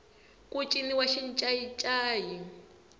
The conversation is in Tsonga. ku ciniwa xincayincayi